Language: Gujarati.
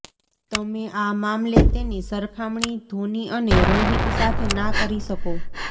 તમે આ મામલે તેની સરખામણી ધોની અને રોહિત સાથે ના કરી શકો